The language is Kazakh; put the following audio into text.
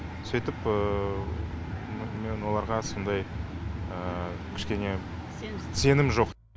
сөйтіп мен оларға сондай кішкене сенімсіз сенім жоқ